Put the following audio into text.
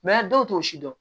dɔw t'o si dɔn